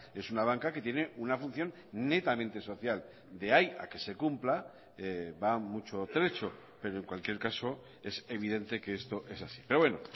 es una banca que tiene una función netamente social de ahí a que se cumpla va mucho trecho pero en cualquier caso es evidente que esto es así pero bueno